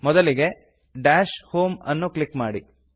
ಮೊದಲಿಗೆ dash home ಅನ್ನು click ಮಾಡಿ